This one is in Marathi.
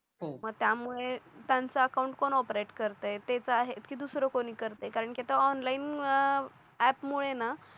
त्यामुळे त्यांचा अकाउंट कोण ऑपरेट करता ये तेच आहे तेच आहेत की दुसरे कोणी करते कारण की तो ऑनलाइन आप मुळे ना